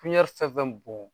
fɛn fɛn bɔn